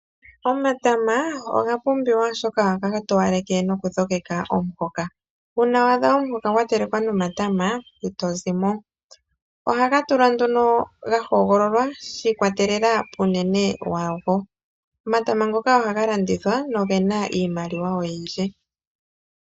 Omatama oga pumbiwa oshoka ohaga towaleke nokudhogeka omuhoka . Una wa adha omuhoka gwa telekwa nomatama itozimo, Ohaga tulwa nduno ga hogololwa shi ikwatelela kunene wago. Omatama ngoka ohaga landithwa noto mono iimaliwa oyindji.